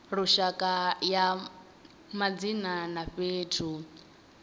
lushaka ya madzina a fhethu